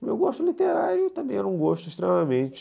O meu gosto literário também era um gosto extremamente...